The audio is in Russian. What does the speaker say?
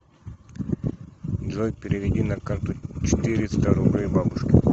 джой переведи на карту четыреста рублей бабушке